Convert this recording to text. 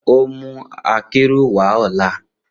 On o mu akero wa ọla.